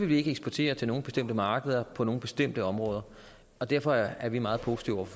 vi ikke eksportere til nogle bestemte markeder for nogle bestemte områder og derfor er vi meget positive